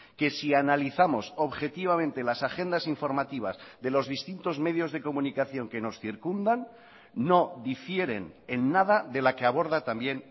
que si analizamos objetivamente las agendas informativas de los distintos medios de comunicación que nos circundan no difieren en nada de la que aborda también